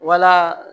Wala